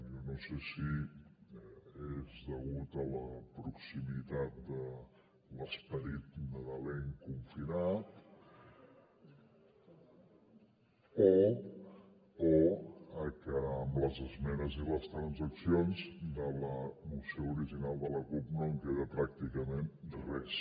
jo no sé si és degut a la proximitat de l’esperit nadalenc confinat o a que amb les esmenes i les transaccions de la moció original de la cup no en queda pràcticament res